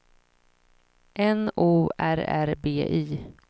N O R R B Y